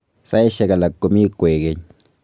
Saishek alak komii koek keny